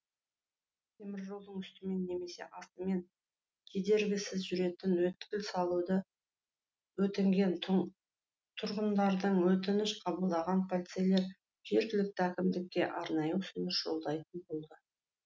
теміржолдың үстімен немесе астымен кедергісіз жүретін өткел салуды өтінген тұрғындардың өтінішін қабылдаған полицейлер жергілікті әкімдікке арнайы ұсыныс жолдайтын болды